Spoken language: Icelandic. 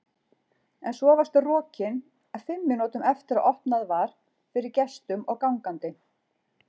En svo varstu rokin fimm mínútum eftir að opnað var fyrir gestum og gangandi.